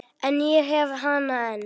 En ég hef hana enn.